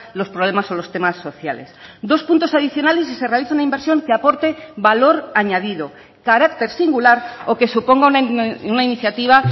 los problemas o los temas sociales dos puntos adicionales si se realiza una inversión que aporte valor añadido carácter singular o que suponga una iniciativa